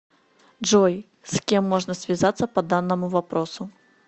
джой с кем можно связаться по данному вопросу